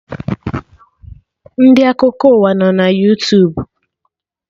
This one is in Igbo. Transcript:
Ndị Akụkọ ụwa nọ na Yootubu